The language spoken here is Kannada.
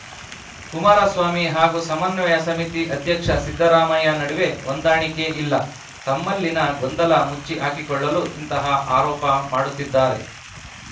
ಕುಮಾರಸ್ವಾಮಿ ಹಾಗೂ ಸಮನ್ವಯ ಸಮಿತಿ ಅಧ್ಯಕ್ಷ ಸಿದ್ದರಾಮಯ್ಯ ನಡುವೆ ಹೊಂದಾಣಿಕೆ ಇಲ್ಲ ತಮ್ಮಲ್ಲಿನ ಗೊಂದಲ ಮುಚ್ಚಿ ಹಾಕಿಕೊಳ್ಳಲು ಇಂತಹ ಆರೋಪ ಮಾಡುತ್ತಿದ್ದಾರೆ